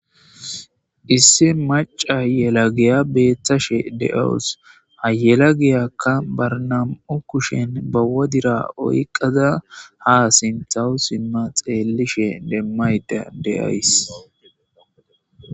issi maca yelagiya beeththashe de7awos hayelagiyakka barnam7u kushen bawodira oyqada ha sinthawu simma xeellishe demmayda de7ays